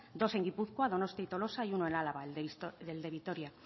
dos en gipuzkoa donostia y tolosa y uno en álava el de vitoria